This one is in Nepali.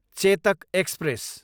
चेतक एक्सप्रेस